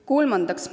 Kolmandaks.